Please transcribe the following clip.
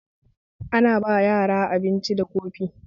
Ana ba yara abinci da kofi